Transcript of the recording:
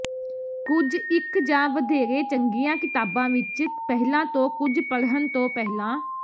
ਕੁਝ ਇੱਕ ਜਾਂ ਵਧੇਰੇ ਚੰਗੀਆਂ ਕਿਤਾਬਾਂ ਵਿੱਚ ਪਹਿਲਾਂ ਤੋਂ ਕੁਝ ਪੜ੍ਹਨ ਤੋਂ ਪਹਿਲਾਂ